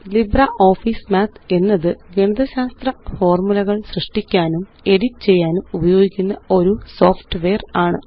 LibreOffice Math എന്നത് ഗണിതശാത്ര ഫോര്മുലകള് സൃഷ്ടിക്കാനും എഡിറ്റ് ചെയ്യാനും ഉപയോഗിക്കുന്ന ഒരു സോഫ്റ്റ്വെയറാണ്